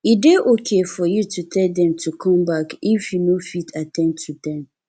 e dey okay for you to tell them to come back if you no fit at ten d to them